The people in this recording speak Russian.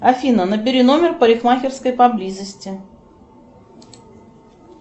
афина набери номер парикмахерской поблизости